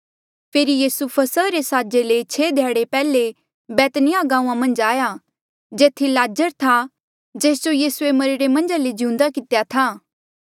फेरी यीसू फसहा रे साजा ले छेह ध्याड़े पैहले बैतनिय्याह गांऊँआं मन्झ आया जेथी लाज़र था जेस जो यीसूए मरिरे मन्झा ले जिउंदा कितेया था